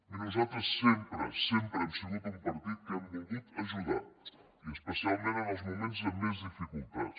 miri nosaltres sempre sempre hem sigut un partit que hem volgut ajudar i especialment en els moments de més dificultats